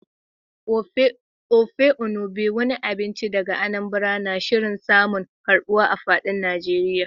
Ofe Enugbe, wani abinci daga Anambra, na shirin samun karbuwa a fadin Najeriya.